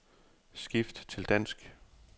Skift til dansk.